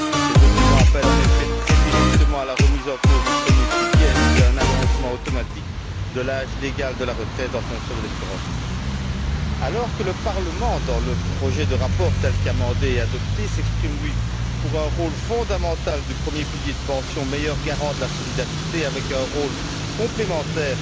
Ces documents appellent très directement la remise en cause du premier pilier ainsi qu'un allongement automatique de l'âge légal de la retraite en fonction de l'espérance de vie, alors que le Parlement, dans le projet de rapport tel qu'amendé et adopté, s'exprime pour un rôle fondamental du premier pilier relatif aux pensions, meilleur garant de la solidarité, avec un rôle complémentaire